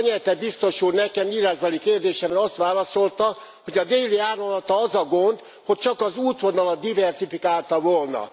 Cañete biztos úr nekem írásbeli kérdésemre azt válaszolta, hogy a Déli Áramlattal az a gond, hogy csak az útvonalat diverzifikálta volna.